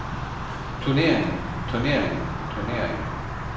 turneringen turneringen turneringen